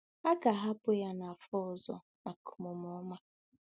A ga-ahapụ ya nafọ ọzọ maka omume ọma.